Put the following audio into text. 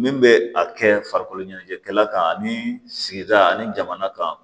Min bɛ a kɛ farikolo ɲɛnajɛkɛla kan ani sigida ani jamana kan